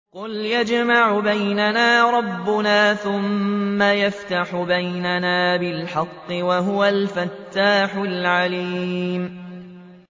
قُلْ يَجْمَعُ بَيْنَنَا رَبُّنَا ثُمَّ يَفْتَحُ بَيْنَنَا بِالْحَقِّ وَهُوَ الْفَتَّاحُ الْعَلِيمُ